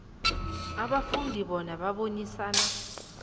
abafundi bona babonisane